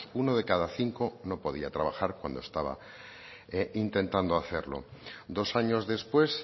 uno de cada cinco no podía trabajar cuando estaba intentando hacerlo dos años después